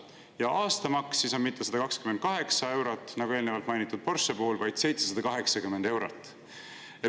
Ja aastamaks on sellel mitte 128 eurot nagu eelnevalt mainitud Porsche puhul, vaid 780 eurot.